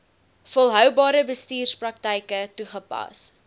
volhoubare bestuurspraktyke toegepas